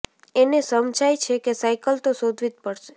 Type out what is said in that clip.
એને સમજાય છે કે સાયકલ તો શોધવી જ પડશે